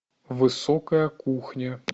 высокая кухня